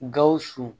Gawusu